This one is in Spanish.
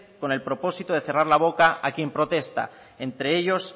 con el propósito de cerrar la boca a quien protesta entre ellos